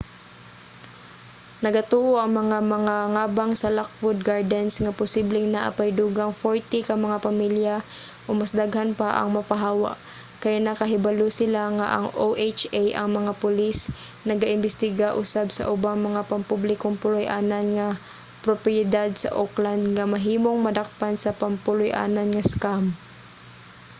nagatuo ang mga mangangabang sa lockwood gardens nga posibleng naa pay dugang 40 ka mga pamilya o mas daghan pa ang mapahawa kay nakahibalo sila nga ang oha nga mga pulis naga-imbestiga usab sa ubang mga pampublikong puloy-anan nga propiedad sa oakland nga mahimong madakpan sa pampuloy-anan nga scam